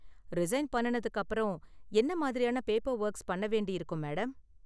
Resign பண்ணுனதுக்கு அப்பறம் என்ன மாதிரியான பேப்பர் ஒர்க்ஸ் பண்ண வேண்டியிருக்கும், மேடம்?